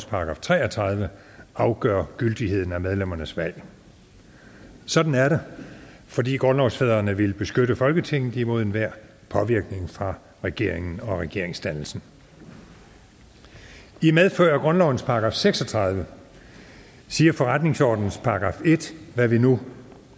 § tre og tredive afgør gyldigheden af medlemmernes valg sådan er det fordi grundlovsfædrene ville beskytte folketinget imod enhver påvirkning fra regeringen og regeringsdannelsen i medfør af grundlovens § seks og tredive siger forretningsordenens § en hvad vi nu